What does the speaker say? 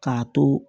K'a to